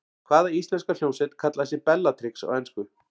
Hvaða íslenska hljómsveit kallaði sig Bellatrix á ensku?